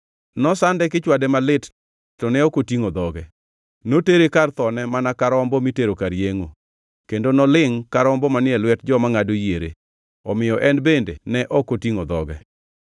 Nosande kichwade malit to ne ok otingʼo dhoge; notere kar thone mana ka rombo mitero kar yengʼo, kendo nolingʼ ka rombo manie lwet joma ngʼado yiere, omiyo en bende ne ok otingʼo dhoge.